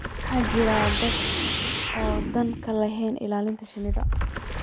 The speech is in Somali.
waxaa jira dad aan dan ka lahayn ilaalinta shinida